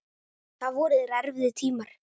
Það voru þér erfiðir tímar.